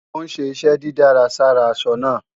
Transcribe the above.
Ó ń ṣe iṣẹ́ dídárà sára aṣọ náà